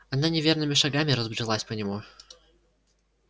она неверными шагами разбрелась по нему